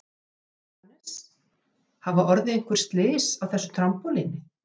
Jóhannes: Hafa orðið einhver slys á þessu trampólíni?